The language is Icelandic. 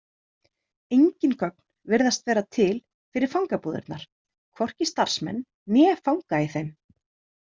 Engin gögn virðast vera til fyrir fangabúðirnar, hvorki starfsmenn né fanga í þeim.